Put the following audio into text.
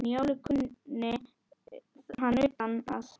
Njálu kunni hann utan að.